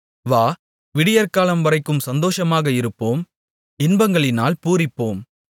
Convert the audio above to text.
வா விடியற்காலைவரைக்கும் சந்தோஷமாக இருப்போம் இன்பங்களினால் பூரிப்போம்